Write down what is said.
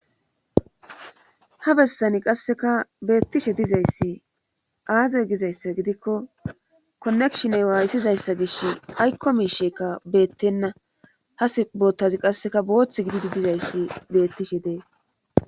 Ha bessani qasseka beettishe dizayssi aaze gizayssa gidikko konekshiney waayssizayssa gish aykkomi sheeka beettenna ha s boottazi qasseka boothth gididi dizayssi beettishe dees